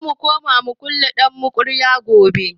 Zamu koma mulkin ɗamokraɗiya gobe